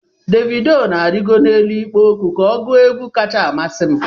Dévido na-arịgó n'elu ịkpó okwu ka ọ gụo egwu kacha amasị m